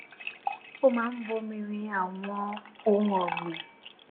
ó máa ń bomi rin àwọn ohun ògbìn